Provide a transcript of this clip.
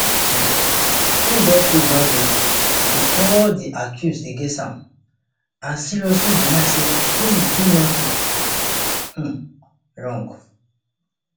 um im don plead not guilty to all di accuse against am and seriously deny say im do anytin um wrong